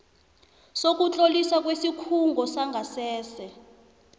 sokutloliswa kwesikhungo sangasese